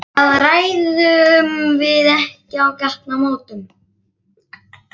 Það ræðum við ekki á gatnamótum.